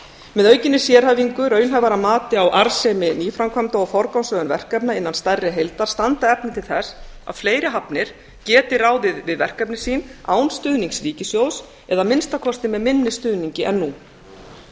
með aukinni sérhæfingu raunhæfara mati á arðsemi nýframkvæmda og forgangsröðun verkefna innan stærri heildar standa efni til þess að fleiri hafnir geti ráðið við verkefni sín án stuðnings ríkissjóðs eða að minnsta kosti með minni stuðningi en nú